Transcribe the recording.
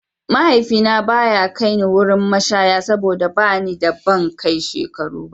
Mahaifina ba ya kai ni wurin mashaya saboda ba ni da ban kai shekarun.